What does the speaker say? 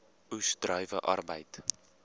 oes druiwe arbeid